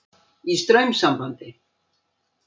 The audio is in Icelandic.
Í straumsambandi.